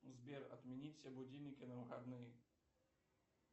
сбер отменить все будильники на выходные